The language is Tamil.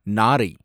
நாரை